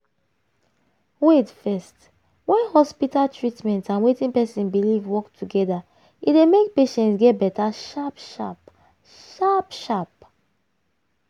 wait first when hospital treatment and wetin person believe work together e dey make patient get better sharp sharp. sharp sharp.